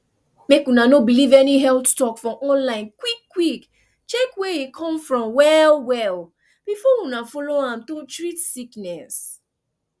mek una no believe any health talk for online quick quick check where e come from well well before una follow am to treat sickness